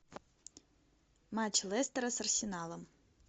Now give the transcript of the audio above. матч лестера с арсеналом